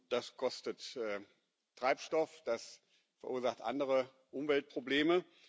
Das kostet Treibstoff, das verursacht andere Umweltprobleme.